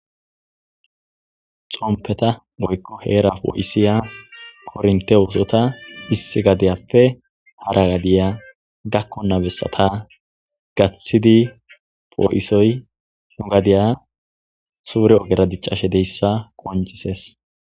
Xomppetha woykko heeraa poo7issiya korinththe oosotha issi gadiyappe hara gadiya dakkonna bessatha gaththidi poo7isoy nu gadiya suure ogera diccashedeyssa qonccissees.